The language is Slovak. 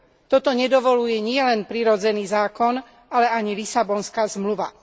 Toto nedovoľuje nielen prirodzený zákon, ale ani Lisabonská zmluva.